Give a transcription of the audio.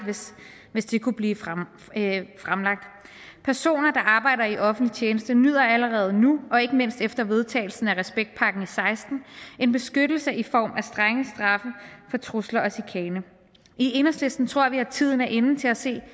hvis det kunne blive fremlagt personer der arbejder i offentlig tjeneste nyder allerede nu og ikke mindst efter vedtagelsen af respektpakken og seksten en beskyttelse i form af strenge straffe for trusler og chikane i enhedslisten tror vi at tiden er inde til at se